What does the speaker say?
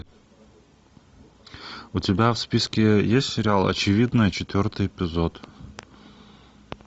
у тебя в списке есть сериал очевидное четвертый эпизод